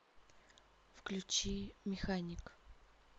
включи механик